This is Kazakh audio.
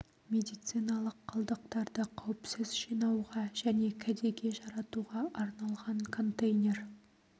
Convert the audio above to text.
медициналық қалдықтарды қауіпсіз жинауға және кәдеге жаратуға арналған контейнер